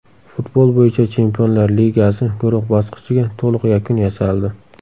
Futbol bo‘yicha Chempionlar Ligasi guruh bosqichiga to‘liq yakun yasaldi.